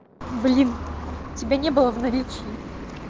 блин тебя не было в наличии